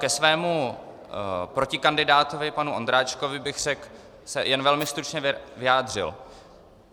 Ke svému protikandidátovi panu Ondráčkovi bych se jen velmi stručně vyjádřil.